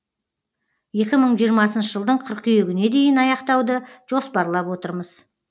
екі мың жиырмасыншы жылдың қыркүйегіне дейін аяқтауды жоспарлап отырмыз